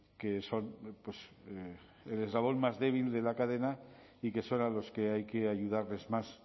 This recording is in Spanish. que son el eslabón más débil de la cadena y que serán los que hay que ayudarles más